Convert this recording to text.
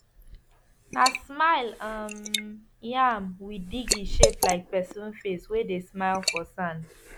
na smile um yam we dig e shape like person face wey dey smile for sand